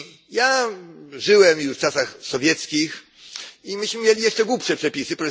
Ja żyłem już w czasach sowieckich, i myśmy mieli jeszcze głupsze przepisy.